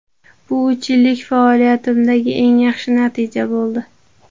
Bu uch yillik faoliyatimdagi eng yaxshi natija bo‘ldi.